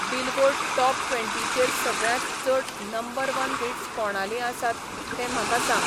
billboard top ट्वेंटीचेर सगळ्यांत चड नंबर वन हिट्स कोणालीं आसात तें म्हाका सांग